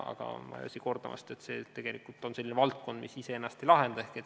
Aga ma ei väsi kordamast, et see on tegelikult selline valdkond, mis ise ennast ei lahenda.